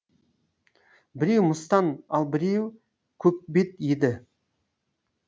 біреу мыстан ал біреу көкбет еді